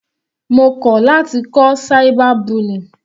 Mo kọ̀ láti kọ́ cyber bullying.